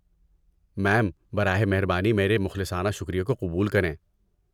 میم، براہ مہربانی میرے مخلصانہ شکریے کو قبول کریں!